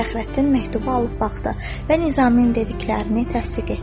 Fəxrəddin məktubu alıb baxdı və Nizaminin dediklərini təsdiq etdi.